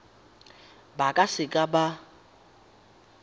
ba ka se ka ba